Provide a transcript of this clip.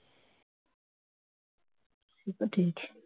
সে তো ঠিক